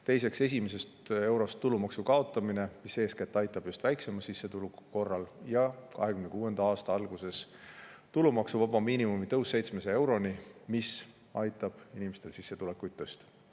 Teiseks, tulumaksu kaotamine esimesest eurost, mis aitab eeskätt just väiksema sissetuleku korral, ja 2026. aasta alguses tulumaksuvaba miinimumi tõus 700 euroni, mis aitab samuti inimeste sissetulekuid tõsta.